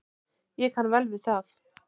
Ég kann vel við það.